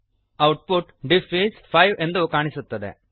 output diff is 5 ಎಂದು ಕಾಣಿಸುತ್ತದೆ